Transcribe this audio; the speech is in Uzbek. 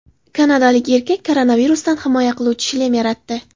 Kanadalik erkak koronavirusdan himoya qiluvchi shlem yaratdi .